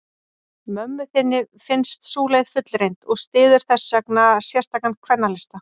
Mömmu þinni finnst sú leið fullreynd, og styður þessvegna sérstakan kvennalista.